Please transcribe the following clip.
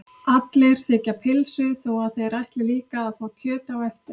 Allir þiggja pylsu þó að þeir ætli líka að fá kjöt á eftir.